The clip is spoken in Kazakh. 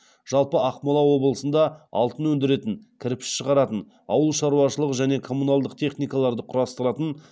жалпы ақмола облысында алтын өндіретін кірпіш шығаратын ауыл шаруашылығы және коммуналдық техникаларды құрастыратын